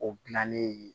O gilanni ye